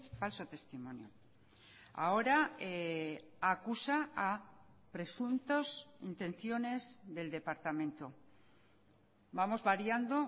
falso testimonio ahora acusa a presuntos intenciones del departamento vamos variando